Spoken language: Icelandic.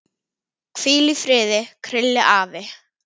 Hvíl í friði, Krilli afi.